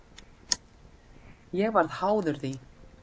Ég varð háður því.